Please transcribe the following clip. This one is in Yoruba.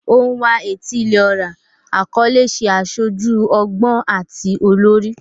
Onwa-na-etili-ora akọle ṣe aṣoju ọgbọn ati olori